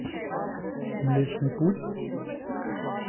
млечный путь